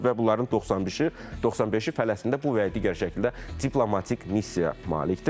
və bunların 95-i Fələstində bu və ya digər şəkildə diplomatik missiya malikdir.